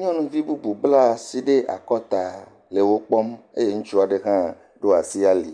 Nyɔnuvi bubu bla asi ɖe akɔta le wo kpɔm eye ŋutsu aɖe hã ɖo asi ali.